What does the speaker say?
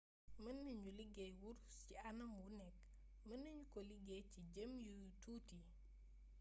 mën nañu liggéey wurus ci anam wu nekk mën nañu ko liggéey ci jëmm yu tuuti